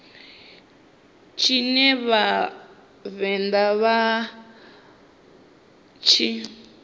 tshine vha vhavenḓa vha tshi